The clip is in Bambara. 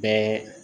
Bɛɛ